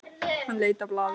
Hann leit á blaðið.